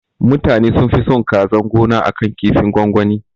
Mutanan sunfi son kazan gona akan kinfin gwangwani